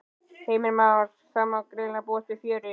Heimir Már: Það má greinilega búast við fjöri?